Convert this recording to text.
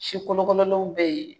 Sikolokololenw bɛ yen.